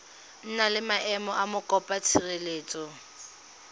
na le maemo a mokopatshireletso